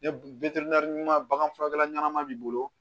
bagan furakɛla ɲɛnama b'i bolo